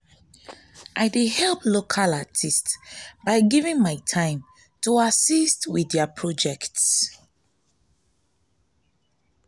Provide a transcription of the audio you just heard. i dey help local artists by giving my time to assist with their projects.